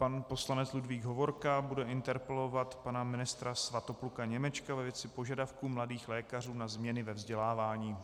Pan poslanec Ludvík Hovorka bude interpelovat pana ministra Svatopluka Němečka ve věci požadavku Mladých lékařů na změny ve vzdělávání.